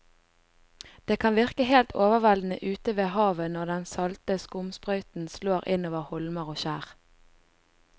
Det kan virke helt overveldende ute ved havet når den salte skumsprøyten slår innover holmer og skjær.